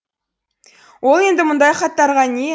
ол енді мұндай хаттарға не